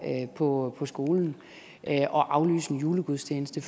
på skolen at aflyse en julegudstjeneste